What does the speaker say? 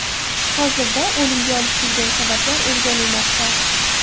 Hozirda o‘limga olib kelgan sabablar o‘rganilmoqda.